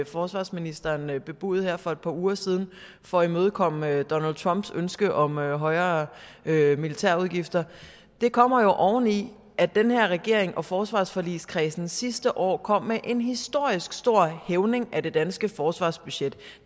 forsvarsministeren bebudede her for et par uger siden for at imødekomme donald trumps ønske om højere højere militærudgifter kommer oveni at den her regering og forsvarsforligskredsen sidste år kom med en historisk stor hævning af det danske forsvarsbudget og